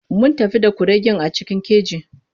Mun tafi da kuregen a cikin keji.